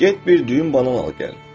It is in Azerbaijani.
Get bir düyün banan al gəl.